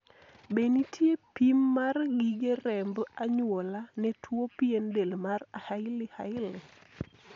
be nitie pim mar gige remb anyuola ne tuo pien del mar haiey hailey